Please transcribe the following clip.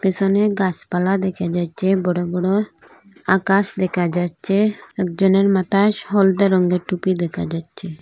পেসনে গাসপালা দেখা যাচ্ছে বড় বড় আকাশ দেকা যাচ্ছে একজনের মাথায় স হলদে রঙ্গের টুপি রাখা যাচ্ছে।